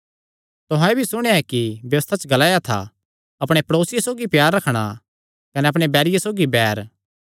तुहां एह़ भी सुणेया ऐ कि व्यबस्था च ग्लाया था अपणे प्ड़ेसिये सौगी प्यार रखणा कने अपणे बैरिये सौगी बैर